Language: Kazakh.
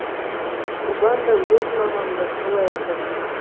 жұбан да өз мамам да солай атайтын